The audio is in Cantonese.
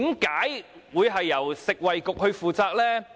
為何由食衞局負責呢？